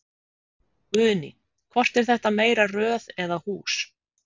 Guðný: Hvort er meira röð eða hús?